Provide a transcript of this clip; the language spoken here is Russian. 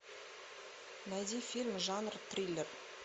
найди фильм жанр триллер